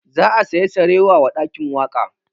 Za a saya sarewa wa ɗakin waƙa